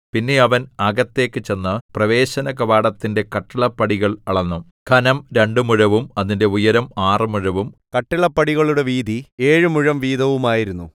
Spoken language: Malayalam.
പിന്നെ അവൻ അകത്തേക്കു ചെന്ന് പ്രവേശനകവാടത്തിന്റെ കട്ടിളപ്പടികൾ അളന്നു ഘനം രണ്ടു മുഴവും അതിന്റെ ഉയരം ആറ് മുഴവും കട്ടിളപ്പടികളുടെ വീതി ഏഴു മുഴം വീതവുമായിരുന്നു